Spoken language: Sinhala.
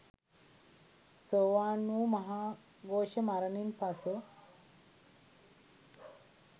සෝවාන් වූ මහාඝෝෂ මරණින් පසු